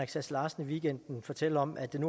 sass larsen i weekenden fortælle om at den